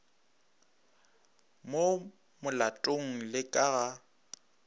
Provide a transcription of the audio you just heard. mo molatong le ka ga